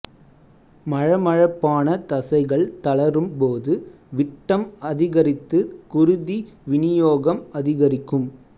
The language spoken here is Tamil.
மழமழப்பான தசைகள் தளரும் போது விட்டம் அதிகரித்து குருதி விநியோகம் அதிகரிக்கும்